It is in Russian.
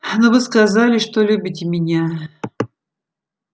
но вы сказали что любите меня